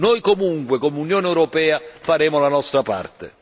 Noi, comunque, come Unione europea faremo la nostra parte.